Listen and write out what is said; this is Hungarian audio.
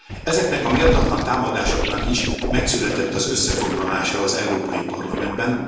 Ezeknek a méltatlan támadásoknak is megszületett az összefoglalása az Európai Parlamentben.